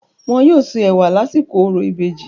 Wọn yóò se ẹ̀wà lásìkò orò ìbejì.